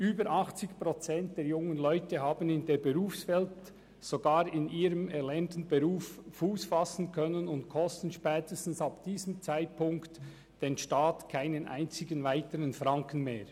Über 80 Prozent der jungen Leute haben in der Berufswelt, sogar in ihrem erlernten Beruf, Fuss fassen können und kosten spätestens ab diesem Zeitpunkt den Staat keinen einzigen weiteren Franken mehr.